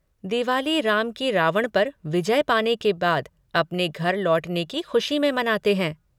दिवाली, राम की रावण पर विजय पाने के बाद अपने घर लौटने की खुशी में मानते हैं।